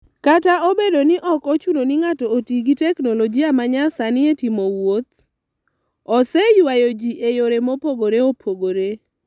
Kata obedo ni ok ochuno ni ng'ato oti gi teknoloji ma nyasani e timo wuoth, oseywayo ji e yore mopogore opogore.